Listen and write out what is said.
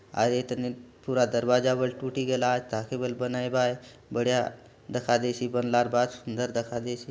अउर ए थाने पूरा दरवाजा बले टूटी गला आचे ताके बले बनाय बाय बढ़िया दखा देयसी बनलार बाद सुंदर दखा देयसी।